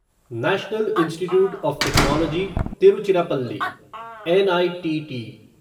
national institute of technology Tiruchirappalli NITT